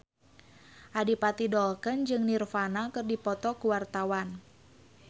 Adipati Dolken jeung Nirvana keur dipoto ku wartawan